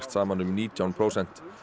saman um nítján prósent